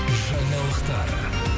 жаңалықтар